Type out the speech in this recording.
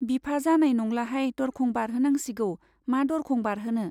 बिफा, जानाय नंलाहाय, दरखं बारहोनांसिगौ। मा दरखं बारहोनो ?